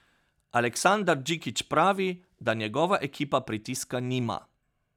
Aleksandar Džikić pravi, da njegova ekipa pritiska nima.